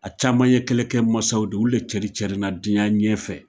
A caman ye kɛlɛkɛ mansaw de olu de cɛrin cɛrinna diɲɛ ɲɛfɛ.